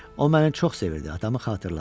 O məni çox sevirdi, adamı xatırladı.